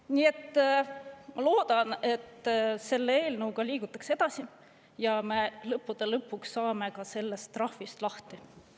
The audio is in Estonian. Nii et ma loodan, et selle eelnõuga liigutakse edasi ja me lõppude lõpuks saame ka sellest trahvist lahti.